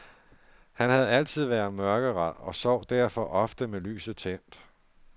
Han havde altid været mørkeræd og sov derfor ofte med lyset tændt.